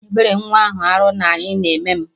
Ebere nwa ahụ arụ na ayị na eme m